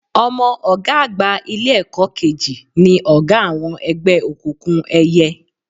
Ọmọ ọ̀gá àgbà Ilé-ẹ̀kọ́ kejì ni ọ̀gá àwọn ẹgbẹ́ òkùnkùn ẹyẹ